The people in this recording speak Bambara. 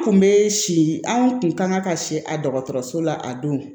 Kun be si anw kun kan ka siri a dɔgɔtɔrɔso la a don